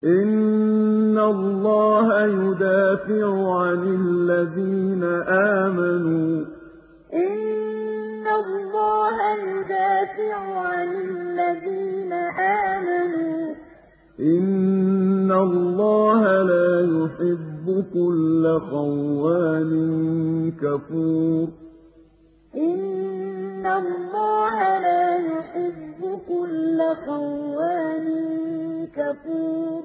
۞ إِنَّ اللَّهَ يُدَافِعُ عَنِ الَّذِينَ آمَنُوا ۗ إِنَّ اللَّهَ لَا يُحِبُّ كُلَّ خَوَّانٍ كَفُورٍ ۞ إِنَّ اللَّهَ يُدَافِعُ عَنِ الَّذِينَ آمَنُوا ۗ إِنَّ اللَّهَ لَا يُحِبُّ كُلَّ خَوَّانٍ كَفُورٍ